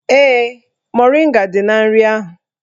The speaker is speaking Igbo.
Ee, moringa dị na nri ahụ